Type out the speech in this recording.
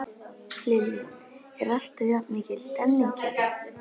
Lillý: Er alltaf jafn mikil stemning hérna?